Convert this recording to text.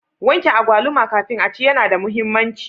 Wanke agwaluma kafin aci yana da muhimmanci.